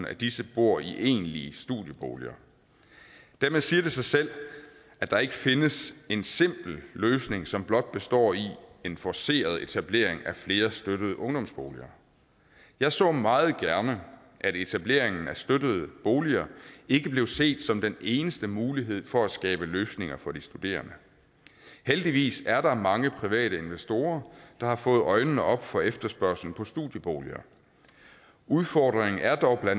af disse bor i egentlige studieboliger dermed siger det sig selv at der ikke findes en simpel løsning som blot består i en forceret etablering af flere støttede ungdomsboliger jeg så meget gerne at etableringen af støttede boliger ikke blev set som den eneste mulighed for at skabe løsninger for de studerende heldigvis er der mange private investorer der har fået øjnene op for efterspørgslen på studieboliger udfordringen er dog bla